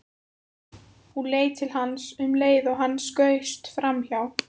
Hún leit til hans um leið og hann skaust framhjá.